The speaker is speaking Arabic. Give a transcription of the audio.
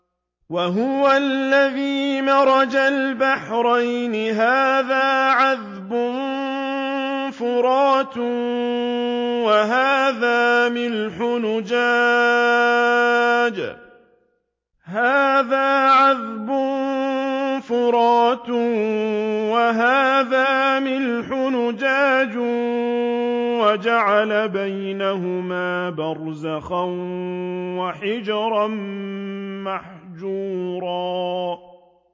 ۞ وَهُوَ الَّذِي مَرَجَ الْبَحْرَيْنِ هَٰذَا عَذْبٌ فُرَاتٌ وَهَٰذَا مِلْحٌ أُجَاجٌ وَجَعَلَ بَيْنَهُمَا بَرْزَخًا وَحِجْرًا مَّحْجُورًا